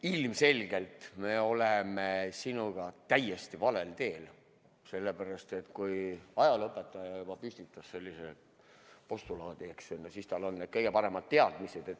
Ilmselgelt me oleme sinuga täiesti valel teel, sellepärast, et kui juba ajalooõpetaja püstitas sellise postulaadi, siis on tal kõige paremad teadmised.